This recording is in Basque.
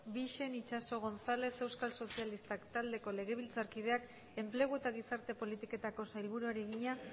bixen itxaso gonzález euskal sozialistak taldeko legebiltzarkideak enplegu eta gizarte politiketako sailburuari egina